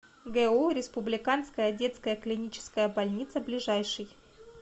гу республиканская детская клиническая больница ближайший